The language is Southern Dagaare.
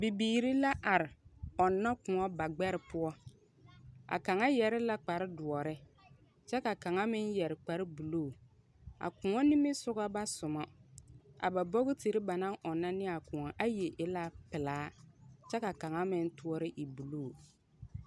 Bibiiri la are ɔnna kõɔ bagbɛre poɔ. A kaŋa yɛre la kparredoɔre, kyɛ ka kaŋa meŋ yɛre kparre buluu. A kõɔ nimisɔga ba soma. A ba bokotiri ba na ɔnnɔ ne a kõɔa, ayi e la pelaa, kyɛ ka kaŋa meŋ toɔre e buluu.